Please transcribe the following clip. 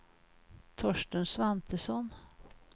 Torsten Svantesson